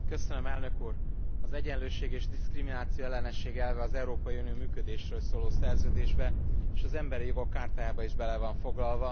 Elnök úr, az egyenlőség és diszkriminációellenesség elve az Európai Unió működésről szóló szerződésbe és az Ember Jogok Chartájába is bele van foglalva.